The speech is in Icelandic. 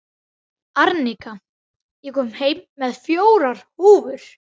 Arnika, ég kom með fjórar húfur!